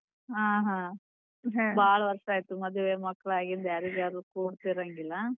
ಆ ಹಾ ವರ್ಷಾಯಿತು ಮದುವೆ ಮಕ್ಕಳು ಆಗಿಂದ್ ಯಾರಿಗೆ ಯಾರೂ ಕೂಡತಿರಂಗಿಲ್ಲ.